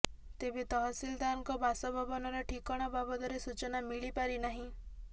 ତେବେ ତହସିଲଦାରଙ୍କ ବାସଭବନର ଠିକଣା ବାବଦରେ ସୂଚନା ମିଳିପାରି ନାହିଁ